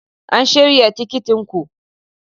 An shirya tikitin ku?